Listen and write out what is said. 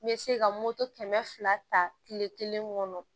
Me se ka moto kɛmɛ fila ta kile kelen kɔnɔ